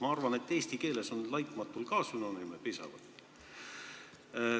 Ma arvan, et ka eesti keeles on sõnal "laitmatu" sünonüüme piisavalt.